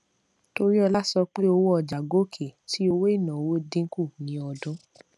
toriola sọ pé owó ọjà gòkè tí owó ìnáwó dínkù ní ọdún